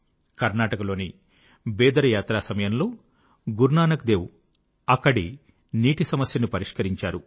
కర్ణాటకలోని బీదర్ యాత్రాసమయంలో గురునానక్ దేవ్ అక్కడి నీటి సమస్యను పరిష్కరించారు